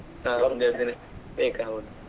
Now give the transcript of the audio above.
ಬೇಕಾಗಬೋದು.